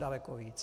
Daleko víc.